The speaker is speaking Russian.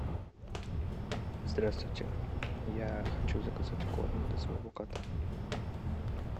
здравствуйте я хочу заказать корм для своего кота